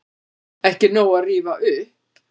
Ekki nóg að rífa upp